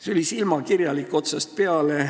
See oli silmakirjalik otsast peale.